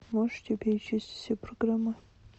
можете перечислить все программы